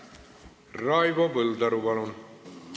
Raivo Põldaru, palun!